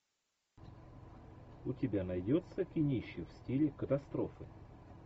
у тебя найдется кинище в стиле катастрофы